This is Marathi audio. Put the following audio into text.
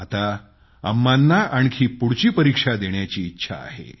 आता अम्मांना आणखी पुढची परीक्षा देण्याची इच्छा आहे